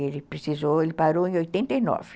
Ele precisou, ele parou em oitenta e nove.